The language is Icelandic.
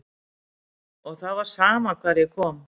Og það var sama hvar ég kom.